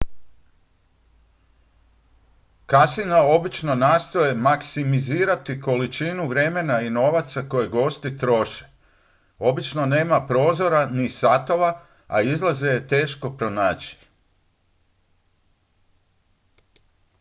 kasina obično nastoje maksimizirati količinu vremena i novaca koje gosti troše obično nema prozora ni satova a izlaze je teško pronaći